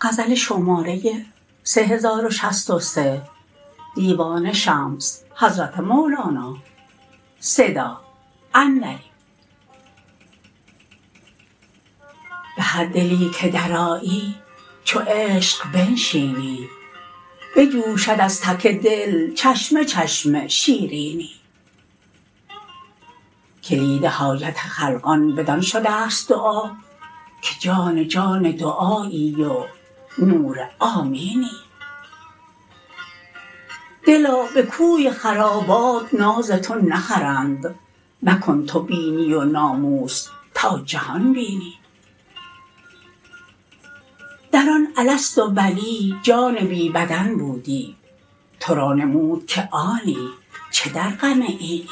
به هر دلی که درآیی چو عشق بنشینی بجوشد از تک دل چشمه چشمه شیرینی کلید حاجت خلقان بدان شده ست دعا که جان جان دعایی و نور آمینی دلا به کوی خرابات ناز تو نخرند مکن تو بینی و ناموس تا جهان بینی در آن الست و بلی جان بی بدن بودی تو را نمود که آنی چه در غم اینی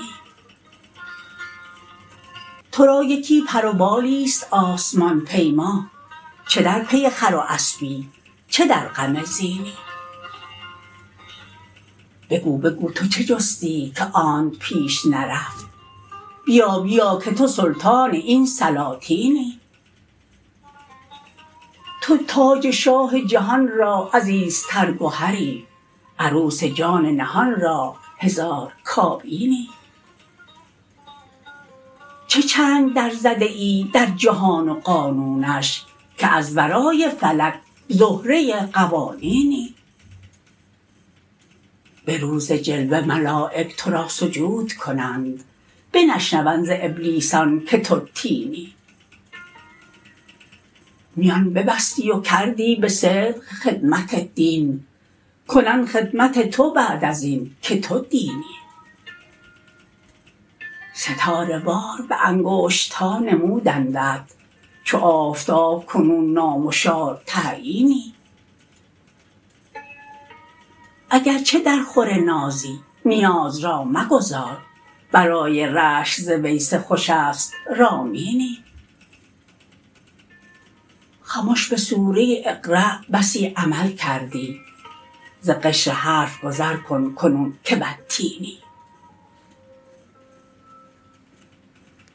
تو را یکی پر و بالیست آسمان پیما چه در پی خر و اسپی چه در غم زینی بگو بگو تو چه جستی که آنت پیش نرفت بیا بیا که تو سلطان این سلاطینی تو تاج شاه جهان را عزیزتر گهری عروس جان نهان را هزار کابینی چه چنگ درزده ای در جهان و قانونش که از ورای فلک زهره قوانینی به روز جلوه ملایک تو را سجود کنند بنشنوند ز ابلیسیان که تو طینی میان ببستی و کردی به صدق خدمت دین کنند خدمت تو بعد از این که تو دینی ستاره وار به انگشت ها نمودندت چو آفتاب کنون نامشار تعیینی اگر چه درخور نازی نیاز را مگذار برای رشک ز ویسه خوشست رامینی خمش به سوره اقرا بسی عمل کردی ز قشر حرف گذر کن, کنون که والتینی